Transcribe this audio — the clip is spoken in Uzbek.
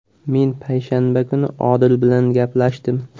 Men payshanba kuni Odil bilan gaplashdim.